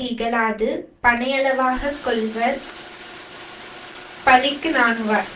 இகழாது பனையளவாக கொள்வர் பழிக்கு நாணுவார்